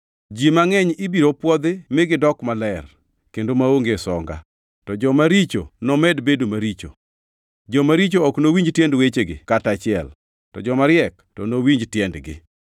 Ji mangʼeny ibiro pwodhi mi gidok maler kendo maonge songa, to joma richo nomed bedo maricho. Joma richo ok nowinj tiend wechegi kata achiel, to jomariek to nowinj tiendgi.